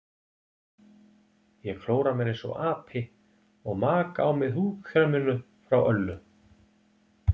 Ég klóra mér einsog api og maka á mig húðkreminu frá Öllu.